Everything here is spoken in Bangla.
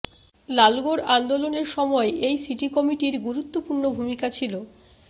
লালগড় আন্দোলনের সময় এই সিটি কমিটির গুরুত্বপূর্ণ ভূমিকা ছিল